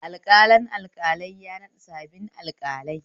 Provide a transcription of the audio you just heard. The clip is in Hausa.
Alƙalin alƙalai ya naɗa sabbin alƙalai